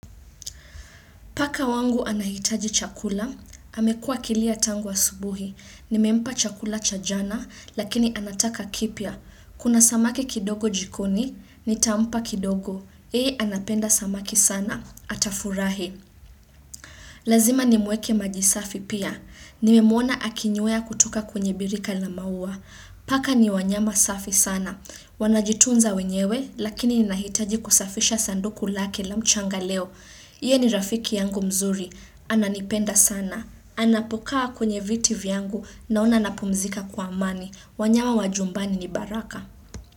Paka wangu anahitaji chakula, amekua akilia tangu asubuhi, nimempa chakula cha jana lakini anataka kipya, kuna samaki kidogo jikoni, nitampa kidogo, yeye anapenda samaki sana, atafurahi. Lazima nimweke maji safi pia. Nimemwona akinywea kutoka kwenye birika la maua. Paka ni wanyama safi sana. Wanajitunza wenyewe lakini ninahitaji kusafisha sanduku lake la mchanga leo. Ye ni rafiki yangu mzuri. Ananipenda sana. Anapokaa kwenye viti vyangu naona anapumzika kwa amani. Wanyama wa jumbani ni baraka.